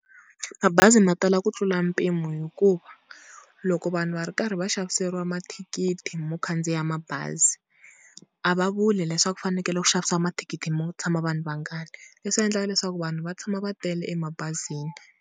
Mabazi ma tala ku tlula mpimo hi ku loko vanhu va ri karhi va xaviseriwa mathikithi mo khandziya mabazi, a va vuli leswaku ku fanekele ku xavisiwa mathikithi mo tshama vanhu vangani, leswi endlaka leswaku vanhu va tshama va tele emabazini.